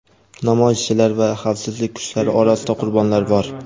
Namoyishchilar va xavfsizlik kuchlari orasida qurbonlar bor.